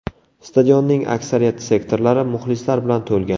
Stadionning aksariyat sektorlari muxlislar bilan to‘lgan.